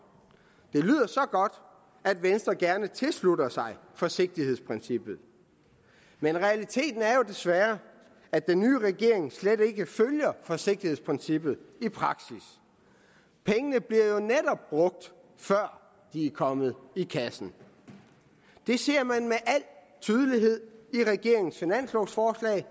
at venstre gerne tilslutter sig forsigtighedsprincippet men realiteten er jo desværre at den nye regering slet ikke følger forsigtighedsprincippet i praksis pengene bliver jo netop brugt før de er kommet i kassen det ser man med al tydelighed i regeringens finanslovforslag